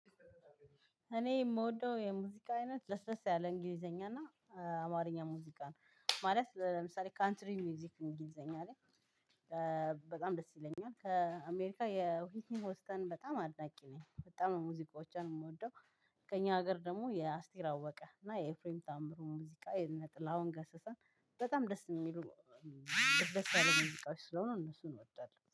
እኔ የምወደው የሙዚቃ አይነት ለስለስ ያለ እንግሊዘኛ እና አማርኛ ሙዚቃ ነው። ማለት ለምሳሌ ካንትሪ ሙዚክ እንግሊዘኛ ላይ- በጣም ደስ ይለኛል። ከአሜሪካ የሆስተን በጣም አድናቂ ነኝ። በጣም ነው ሙዚቃዎቿን የምወደው። ከእኛ ሀገር ደግሞ የአስቴር አወቀ እና የኤፍሬም ታምሩ ሙዚቃ: የእነ ጥላሁን ገሰሰን በጣም ደስ የሚሉ ለስለስ ያለ ሙዚቃዎች ስለሆኑ እነሱን እወዳለሁ።